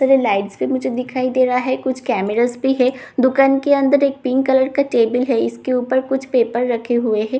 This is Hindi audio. इधर लाइटस भी मुझे दिखाई दे रहा है कुछ कैमरास भी है दुकान के अंदर एक पिंक कलर का टेबल भी है इसके ऊपर कुछ पेपर रखे हुए हैं दुकान--